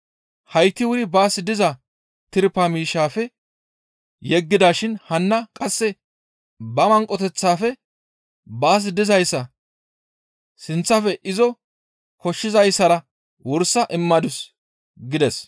Hayti wuri baas diza tirpa miishshaafe yeggidashin hanna qasse ba manqoteththaafe baas dizayssa sinththafe izo koshshizayssara wursa immadus» gides.